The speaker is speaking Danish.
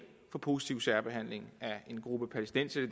for positiv særbehandling af en gruppe palæstinensere i